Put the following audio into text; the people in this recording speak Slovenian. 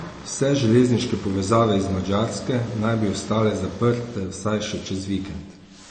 Vse železniške povezave iz Madžarske naj bi ostale zaprte vsaj še čez vikend.